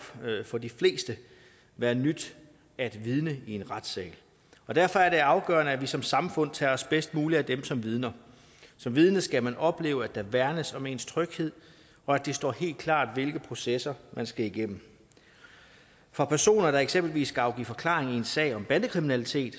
for de fleste være nyt at vidne i en retssal og derfor er det afgørende at vi som samfund tager os bedst muligt af dem som vidner som vidne skal man opleve at der værnes om ens tryghed og at det står helt klart hvilke processer man skal igennem for personer der eksempelvis skal afgive forklaring i en sag om bandekriminalitet